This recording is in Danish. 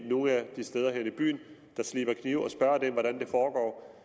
nogle af de steder her i byen der sliber knive og spørger dem hvordan det foregår